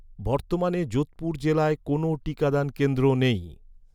বর্তমানে যোধপুর জেলায় কোনও টিকাদান কেন্দ্র নেই